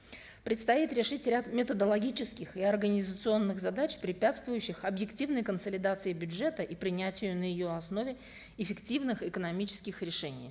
предстоит решить ряд методологических и организационных задач препятствующих объективной консолидации бюджета и принятию на ее основе эффективных экономических решений